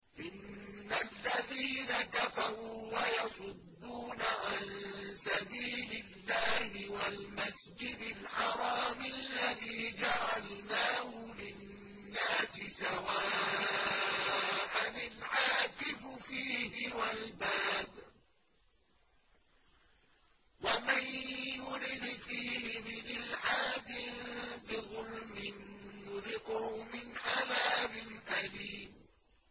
إِنَّ الَّذِينَ كَفَرُوا وَيَصُدُّونَ عَن سَبِيلِ اللَّهِ وَالْمَسْجِدِ الْحَرَامِ الَّذِي جَعَلْنَاهُ لِلنَّاسِ سَوَاءً الْعَاكِفُ فِيهِ وَالْبَادِ ۚ وَمَن يُرِدْ فِيهِ بِإِلْحَادٍ بِظُلْمٍ نُّذِقْهُ مِنْ عَذَابٍ أَلِيمٍ